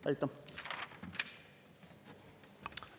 Aitäh!